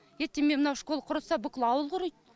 ертең міне мынау школ құрыса бүкіл ауыл құриды